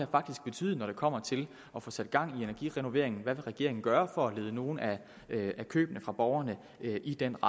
betyde når det kommer til at få sat gang i energirenoveringen hvad vil regeringen gøre for at lede nogle af borgernes køb i den